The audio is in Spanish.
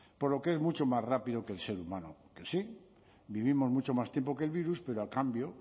por lo que es mucho más rápido que el ser humano que sí vivimos mucho más tiempo que el virus pero a cambio